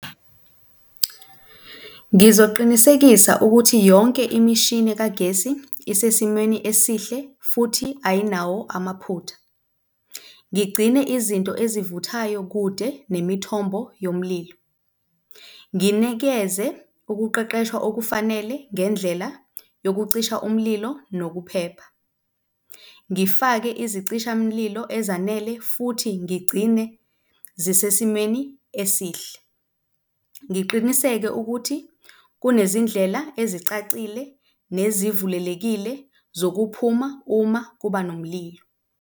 Ngizoqinisekisa ukuthi yonke imishini kagesi isesimeni esihle futhi ayinawo amaphutha. Ngigcine izinto ezivuthayo kude nemithombo yomlilo. Nginikeze ukuqeqeshwa okufanele ngendlela yokucisha umlilo nokuphepha. Ngifake izicishamlilo ezanele futhi ngigcine zisesimeni esihle. Ngiqiniseke ukuthi kunezindlela ezicacile nezivulelekile zokuphuma uma kuba nomlilo.